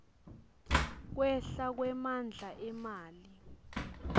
kwehla kwemandla emali